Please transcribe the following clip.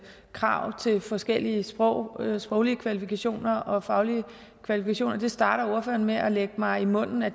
krav til forskellige sproglige sproglige kvalifikationer og faglige kvalifikationer det starter ordføreren med at lægge mig i munden at